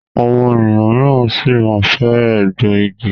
Àwọn ènìyàn míràn sí má fè egbò ìgi.